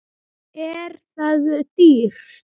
Er það dýrt?